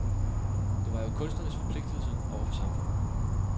Det var jo kunstnerens forpligtigelse over for samfundet.